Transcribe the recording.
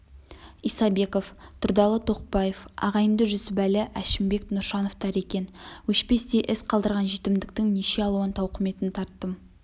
исабеков тұрдалы тоқбаев ағайынды жүсіпәлі әшімбек нұршановтар екен өшпестей із қалдырған жетімдіктің неше алуан тауқыметін тарттым